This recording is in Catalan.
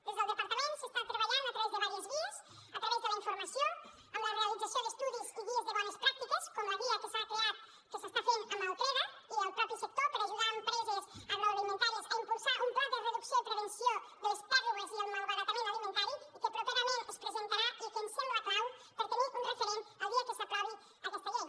des del departament s’està treballant a través de diverses vies a través de la informació amb la realització d’estudis i guies de bones pràctiques com la guia que s’està fent amb el creda i el mateix sector per ajudar a empreses agroalimentàries a impulsar un pla de reducció i prevenció de les pèrdues i el malbaratament alimentari i que properament es presentarà i que ens sembla clau per tenir un referent el dia que s’aprovi aquesta llei